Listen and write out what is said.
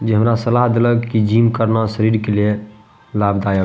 जे हमरा सलाह देलक की जिम करना शरीर के लिए लाभदायक --